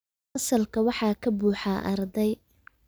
Fasalka waxaa ka buuxa arday